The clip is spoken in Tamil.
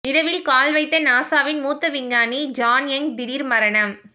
நிலவில் கால் வைத்த நாசாவின் மூத்த விஞ்ஞானி ஜான் யங் திடீர் மரணம்